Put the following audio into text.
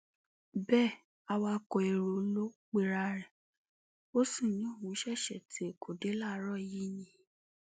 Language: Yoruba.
bẹẹ awakọ èrò ló pera ẹ ó sì ní òún ṣẹṣẹ ti èkó dé láàárọ yìí ni